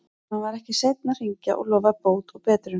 Hann var ekki seinn að hringja og lofaði bót og betrun.